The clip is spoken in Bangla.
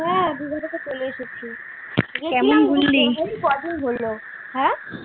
হ্যা দিঘা থেকে চলে এসেছি । ক দিন হল। হ্যাঁ?